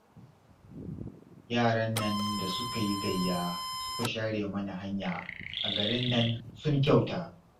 Yaran nan da suka yi gayya suka share mana hanya a garin nan sun kyauta